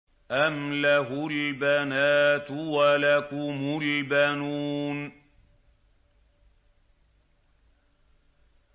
أَمْ لَهُ الْبَنَاتُ وَلَكُمُ الْبَنُونَ